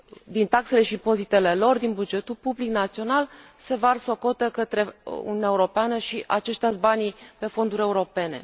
din taxele și impozitele lor și din bugetul public național se varsă o cotă către Uniunea Europeană și aceștia sunt banii pentru fonduri europene.